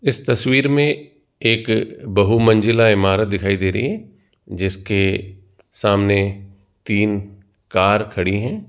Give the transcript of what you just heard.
इस तस्वीर में एक बहुमंजिला इमारत दिखाई दे रही है जिसके सामने तीन कार खड़ी हैं।